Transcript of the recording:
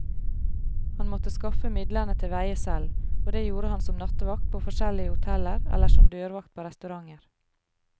Han måtte skaffe midlene til veie selv, og det gjorde han som nattevakt på forskjellige hoteller eller som dørvakt på restauranter.